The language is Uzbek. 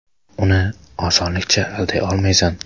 Uni osonlikcha alday olmaysan.